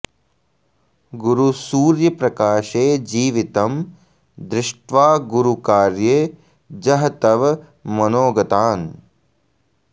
गुरुसूर्य प्रकाशे जीवितं दृष्ट्वा गुरुकार्ये जह तव मनोगतान्